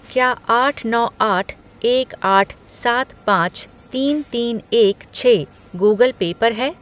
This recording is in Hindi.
क्या आठ नौ आठ एक आठ सात पाँच तीन तीन एक छः गूगल पे पर है?